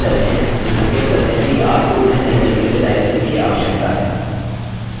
अक्षर वैसे ही सफेद रहते हैं जो संकेत करते हैं कि आपको उन्हें सही तरीके से टाइप करने की आवश्यकता है